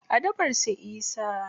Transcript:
A dabar su isa.